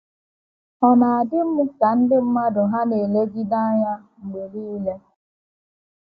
Ọ na - adị m ka ndị mmadụ hà na - elegide m anya mgbe niile.